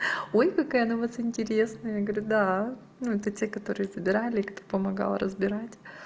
ой какая она у вас интересная я говорю да ну это те которые собирали кто помогал разбирать